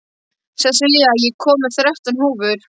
Sessilía, ég kom með þrettán húfur!